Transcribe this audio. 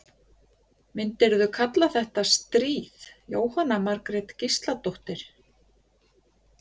Jóhanna Margrét Gísladóttir: Myndirðu kalla þetta stríð?